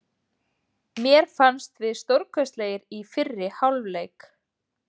Mér fannst við stórkostlegir í fyrri hálfleik.